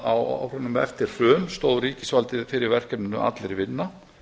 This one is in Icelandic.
á árunum eftir hrun stóð ríkisvaldið fyrir verkefninu allir vinna